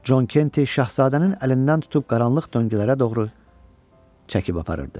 Con Kenti şahzadənin əlindən tutub qaranlıq döngələrə doğru çəkib aparırdı.